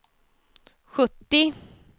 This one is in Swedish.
sjuttio